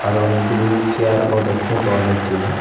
আরও অনেকগুলো চেয়ার -ও দেখতে পাওয়া যাচ্চে।